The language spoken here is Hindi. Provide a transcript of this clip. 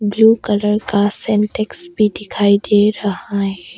ब्लू कलर का सेंटेक्स भी दिखाई दे रहा है।